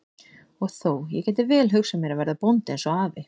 Og þó, ég gæti vel hugsað mér að verða bóndi eins og afi.